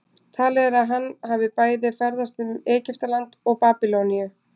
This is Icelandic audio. Talið er að hann hafi bæði ferðast um Egyptaland og Babýloníu.